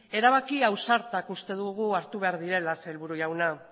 erabaki ausartak uste dugu hartu behar direla sailburu jauna